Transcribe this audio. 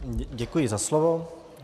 Děkuji za slovo.